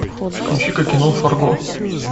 включика кино фарго